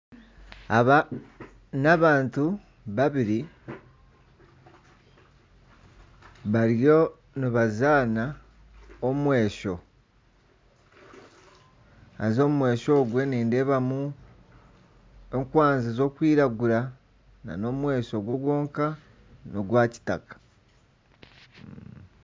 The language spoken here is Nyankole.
Aba n'abantu babiri bariyo nibazaana omwesho. Haza omwehso ogwe nindeebamu enkwanzi z'okwiragura nana omwesho gwo gwonka n'ogwa kitaka.